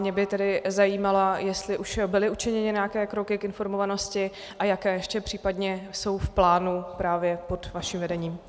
Mě by tedy zajímalo, jestli už byly učiněny nějaké kroky k informovanosti a jaké ještě případně jsou v plánu právě pod vaším vedením.